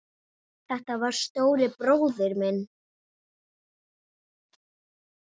Þetta var stóri bróðir minn.